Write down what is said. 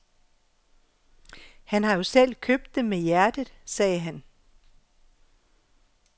Han har jo selv købt dem med hjertet, sagde han.